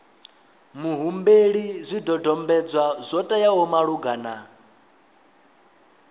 muhumbeli zwidodombedzwa zwo teaho malugana